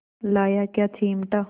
लाया क्या चिमटा